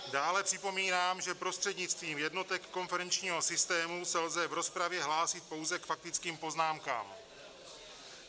Dále připomínám, že prostřednictvím jednotek konferenčního systému se lze v rozpravě hlásit pouze k faktickým poznámkám.